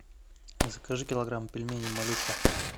закажи килограмм пельменей малютка